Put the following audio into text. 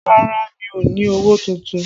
Rárá, mi ò ní owó tuntun